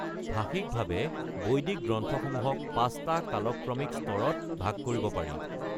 ভাষিকভাৱে বৈদিক গ্ৰন্থসমূহক পাঁচটা কালক্ৰমিক স্তৰত ভাগ কৰিব পাৰি: